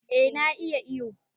Eh na iya iyo